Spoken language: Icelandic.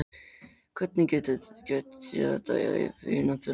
Hvernig get ég þetta í vináttuleik?